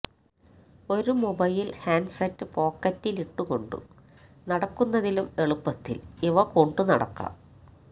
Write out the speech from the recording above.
ഒരു mobile handset പോക്കറ്റിലിട്ടു കൊണ്ടു നടക്കുന്നതിലും എളുപ്പത്തില് ഇവ കൊണ്ടു നടക്കാം